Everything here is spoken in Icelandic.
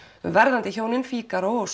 um verðandi hjónin Fígaró og